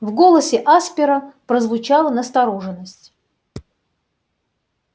в голосе аспера прозвучала настороженность